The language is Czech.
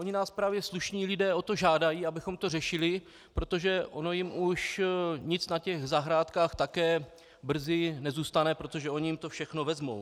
Oni nás právě slušní lidé o to žádají, abychom to řešili, protože ono jim už nic na těch zahrádkách také brzy nezůstane, protože oni jim to všechno vezmou.